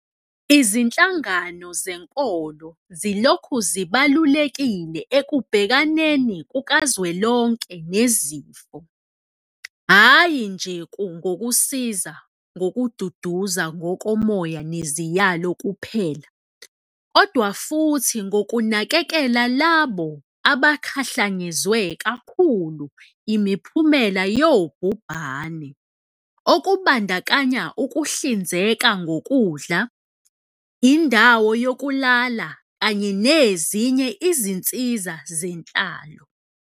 Izinhlangano zenkolo zilokhu zibalulekile ekubhekaneni kukazwelonke nesifo, hhayi nje ngokusiza ngokududuza ngokomoya neziyalo kuphela, kodwa futhi ngokunakekela labo abakhahlanyezwe kakhulu imiphumela yobhubhane, okubandakanya ukuhlinzeka ngokudla, indawo yokulala kanye nezinye izinsiza zenhlalo.